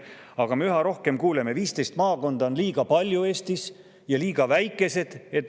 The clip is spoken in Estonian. Aga üha rohkem me kuuleme, et 15 maakonda on Eestis liiga palju, et nendega suhelda, ja need on liiga väikesed.